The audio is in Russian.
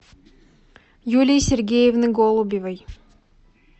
юлии сергеевны голубевой